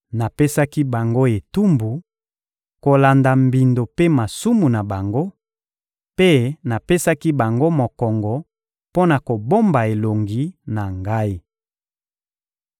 Napesaki bango etumbu kolanda mbindo mpe masumu na bango, mpe napesaki bango mokongo mpo na kobomba elongi na Ngai.